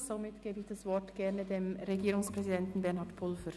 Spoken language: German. Ich gebe das Wort dem Regierungspräsidenten Bernhard Pulver.